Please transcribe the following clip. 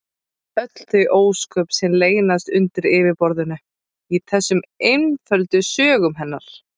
Öll þau ósköp sem leynast undir yfirborðinu í þessum einföldu sögum hennar!